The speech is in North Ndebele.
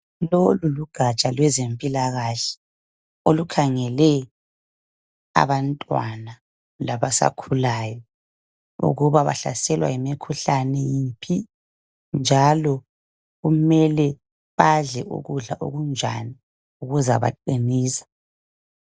Lolu lugaja lwezempilakahle, olukhangele abantwana labasakhulayo. Ukuthibahlaselwa yimikhuhlane enhani. Njalo kumele badle ukudla okunjani, okuzabaqinisa.